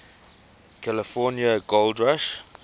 california gold rush